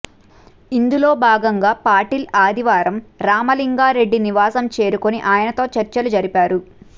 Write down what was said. ఇందులో భాగంగా పాటిల్ ఆదివారం రామలింగా రెడ్డి నివాసం చేరుకుని ఆయనతో చర్చలు జరిపారు